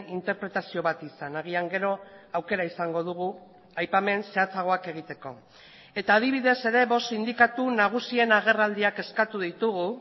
interpretazio bat izan agian gero aukera izango dugu aipamen zehatzagoak egiteko eta adibidez ere bost sindikatu nagusien agerraldiak eskatu ditugu